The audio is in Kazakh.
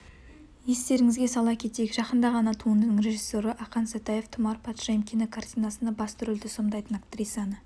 естеріңізге сала кетейік жақында ғана туындының режиссері ақан сатаев тұмар патшайым кинокартинасында басты рөлді сомдайтын актрисаны